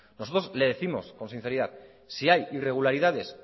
nosotros le décimos con sinceridad si hay irregularidades